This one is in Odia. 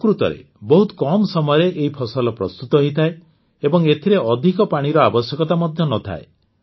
ପ୍ରକୃତରେ ବହୁତ କମ୍ ସମୟରେ ଏହି ଫସଲ ପ୍ରସ୍ତୁତ ହୋଇଯାଏ ଏବଂ ଏଥିରେ ଅଧିକ ପାଣିର ଆବଶ୍ୟକତା ମଧ୍ୟ ନଥାଏ